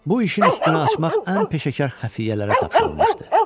Bu işin üstünü açmaq ən peşəkar xəfiyyələrə tapşırılmışdı.